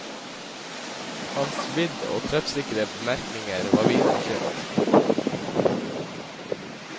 Hans vidd og treffsikre bemerkninger var viden kjent.